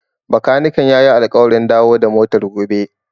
Bakaniken ya yi alƙawarin dawo da motar gobe.